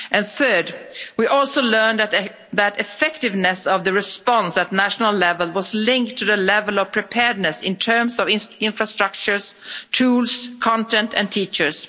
Third, we also learned that the effectiveness of the response at national level was linked to the level of preparedness in terms of infrastructure, tools, content and teachers.